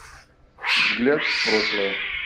взгляд в прошлое